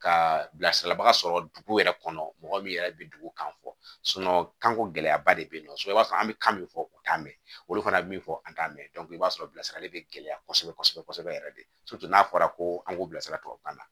Ka bilasiraliba sɔrɔ dugu yɛrɛ kɔnɔ mɔgɔ min yɛrɛ bɛ dugu kan fɔ kanko gɛlɛya ba de bɛ yen nɔ so i b'a sɔrɔ an bɛ kan min fɔ u t'a mɛn olu fana bɛ min fɔ an t'a mɛn i b'a sɔrɔ bilasirali bɛ gɛlɛya kosɛbɛ kosɛbɛ yɛrɛ de n'a fɔra ko an k'o bila sirabakan na